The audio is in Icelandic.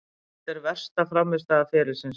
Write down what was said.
Þetta var versta frammistaða ferilsins.